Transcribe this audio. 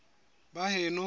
baheno